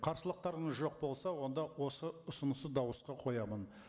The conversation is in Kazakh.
қарсылықтарыңыз жоқ болса онды осы ұсынысты дауысқа қоямын